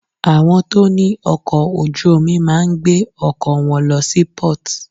Àwọn tó ní ọkọ̀ ojú omi máà ń gbé ọkọ̀ wọn lọ sí port.